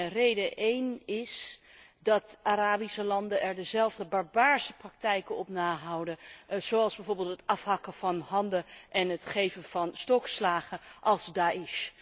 Een eerste reden is dat Arabische landen er dezelfde barbaarse praktijken op nahouden, zoals bijvoorbeeld het afhakken van handen en het geven van stokslagen, als Da'esh.